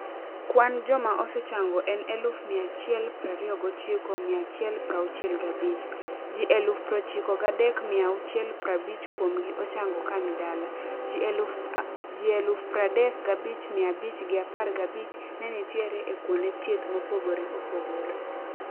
Kwan joma osechango en eluf mia achiel prario gochiko mia achiel prauchiel gabich. Ji eluf prochiko gadek mia auchiel prabich kuomgi ochango kani dala. Ji eluf pardek gabich mia abich gi apar gabich nenitiere ekuonde thieth mopogore opogore.